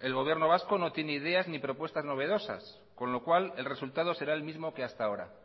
el gobierno vasco no tiene ideas ni propuestas novedosas con lo cual el resultado será el mismo que hasta ahora